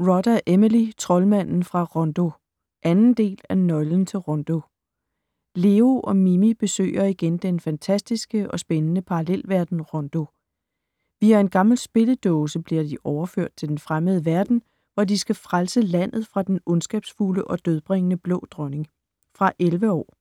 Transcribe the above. Rodda, Emily: Troldmanden fra Rondo 2. del af Nøglen til Rondo. Leo og Mimi besøger igen den fantastiske og spændende parallelverden Rondo. Via en gammel spilledåse bliver de overført til den fremmede verden, hvor de skal frelse landet fra den ondskabsfulde og dødbringende Blå Dronning. Fra 11 år.